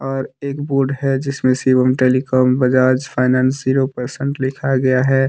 और एक बोर्ड है जिसमें Shivam telecom Bajaj finance zero percent लिखा गया है।